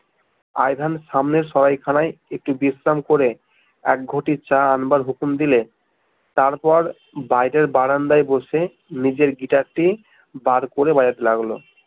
I ভেন সামনের সরাইখানায় একটু বিশ্রাম করে এক ঘটি চা আনবার হুকুম দিলে তারপর বাইরের বারান্দায় বসে নিজের গিটারটি বার করে বাজাতে লাগলো